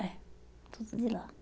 É, tudo de lá.